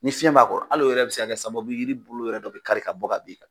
Ni fiɲɛ b'a kɔrɔ, hal'o yɛrɛ bi se ka kɛ sababu ye yiri bolo yɛrɛ dɔ bi kari ka bɔ ka bin ka